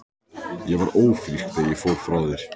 Ég var ófrísk þegar ég fór frá þér.